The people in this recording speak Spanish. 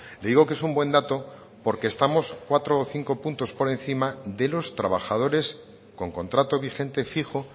le digo que es un buen dato porque estamos cuatro o cinco puntos por encima de los trabajadores con contrato vigente fijo